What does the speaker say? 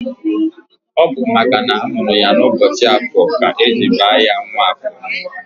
Ọ bụ makana amụrụ ya n'ụbọchị Afọ ka eji baa ya Nwafọ